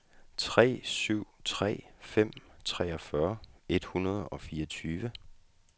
tre syv tre fem treogfyrre et hundrede og fireogtyve